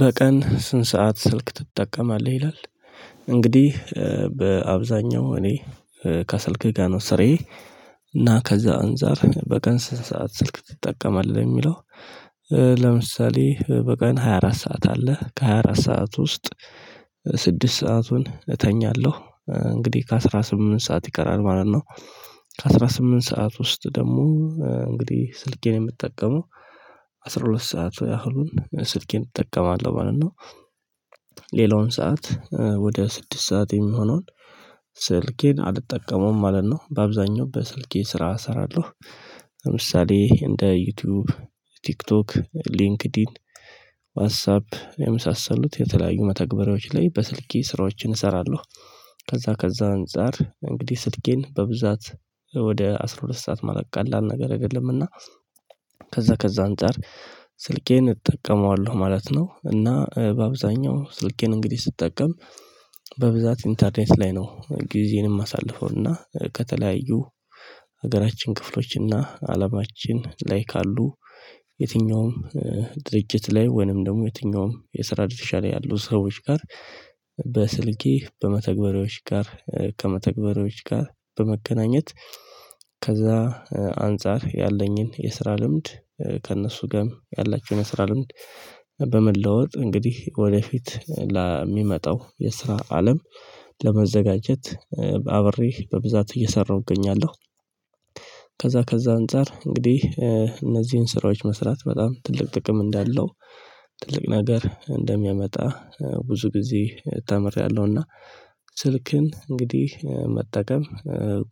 በቀን ስንት ሰዓት ስልክ ትጠቀማለህ ይላል? እንግዲህ በአብዛኛው እኔ ከስልኬ ጋር ነው ስራዬ። እና ከዛ አንፃር በቀን ስንት ሰዓት ስልክ ትጠቀማለህ የሚለው? ለምሳሌ በቀን ሃያ አራት ሰዓት አለ ከ ሃያ አራት ሰዓት ውስጥ ስድስት ሰአቱን እተኛለሁ እንግዲህ ከአስራ ስምንት ሰዓት ይቀራል ማለት ነው። ከአስራ ስምንት ሰዓት ውስጥ ደግሞ እንግዲህ ስልኬን የምጠቀመው አስራ ሁለት ሰዓት ያህሉን ስልኬን እጠቀማለሁ ማለት ነው። ሌላውን ሰዓት ወደ ስድስት ሰዓት የሚሆነውን ስልኬን አልጠቀመውም ማለት ነው በአብዛኛው በስልኬ ስራ እሰራለሁ። ለምሳሌ እንደ ዩቲዩብ ቲክቶክ ሊንክዲን ዋትሳፕ የምሳሰሉት የተለያዩ መተግበሪያዎች ላይ በስልኬ ስራዎችን እሰራለሁ። ከዛ ከዛ አንፃር እንግዲህ ስልኬን በብዛት ወደ አስራ ሁለት ሰዓት ማለት ቀላል ነገረ እና ከዛ ከዛ አንፃር ስልኬን እጠቀመዋለሁ ማለት ነው። እና በአብዛኛው ስልኬን እንግዲህ ስጠቀም በብዛት ኢንተርኔት ላይ ነው ጊዜየንም ማሳልፈውና ከተለያዩ ሀገራችን ክፍሎችና አለማችን ላይ ካሉ የትኛውም ድርጅት ላይ ወይንም ደግሞ የትኛውም የስራ ድርሻ ላይ ያሉ ሰዎች ጋር በስልኬ በመተግበሪያዎች ጋር ከመተግበሪያዎች ጋር በመገናኘት ከዛ አንፃር ያለኝን የስራ ልምድ ከእነሱ ጋም ያላቸውን የስራ ልምድ በመለወጥ እንግዲህ ወደፊት ለሚመጣው የስራ አለም ለመዘጋጀት በአብሬ በብዛት እየሰራሁ እገኛለሁ። ከዛ ከዛ አንፃር እንግዲህ እነዚህን ስራዎች መስራት በጣም ትልቅ ጥቅም እንዳለው ትልቅ ነገር እንደሚያመጣ ብዙ ጊዜ ተምሬያለሁና ስልክን እንግዲህ መጠቀም